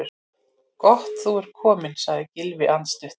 Gott þú ert kominn- sagði Gylfi andstuttur.